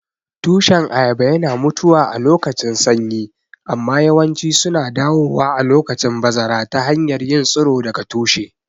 Tushen ayaba yana mutuwa alokacin sanyi amma yawanci suna dawowa a lokacin bazara ta hanyar yin tsiro daga tushe.